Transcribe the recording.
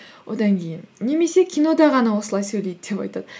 одан кейін немесе кинода ғана осылай сөйлейді деп айтады